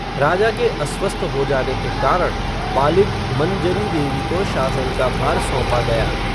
राजा के अस्वस्थ हो जाने के कारण, बालिग़, मंजरी देवी को शासन का भार सौंपा गया